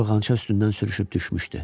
Yorğança üstündən sürüşüb düşmüşdü.